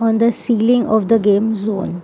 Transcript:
on the ceiling of the game zone.